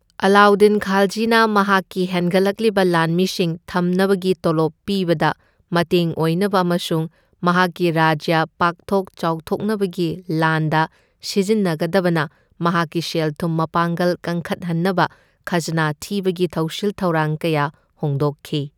ꯑꯂꯥꯎꯗꯤꯟ ꯈꯥꯜꯖꯤꯅ ꯃꯍꯥꯛꯀꯤ ꯍꯦꯟꯒꯠꯂꯛꯂꯤꯕ ꯂꯥꯟꯃꯤꯁꯤꯡ ꯊꯝꯅꯕꯒꯤ ꯇꯣꯂꯣꯞ ꯄꯤꯕꯗ ꯃꯇꯦꯡ ꯑꯣꯏꯅꯕ ꯑꯃꯁꯨꯡ ꯃꯍꯥꯛꯀꯤ ꯔꯥꯖ꯭ꯌ ꯄꯥꯛꯊꯣꯛ ꯆꯥꯎꯊꯣꯛꯅꯕꯒꯤ ꯂꯥꯟꯗ ꯁꯤꯖꯤꯟꯅꯒꯗꯕꯅ ꯃꯍꯥꯛꯀꯤ ꯁꯦꯜ ꯊꯨꯝ ꯃꯄꯥꯡꯒꯜ ꯀꯟꯈꯠꯍꯟꯅꯕ ꯈꯖꯅꯥ ꯊꯤꯕꯒꯤ ꯊꯧꯁꯤꯜ ꯊꯧꯔꯥꯡ ꯀꯌꯥ ꯍꯣꯡꯗꯣꯛꯈꯤ꯫